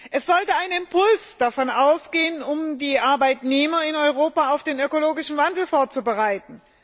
Es sollte ein Impuls davon ausgehen, um die Arbeitnehmer in Europa auf den ökologischen Wandel vorzubereiten.